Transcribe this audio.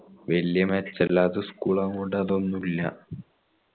വെല്യ മേക്കിലാത്ത school ആവോണ്ട് അതൊന്നുല്ല